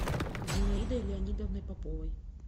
зинаидой леонидовной поповой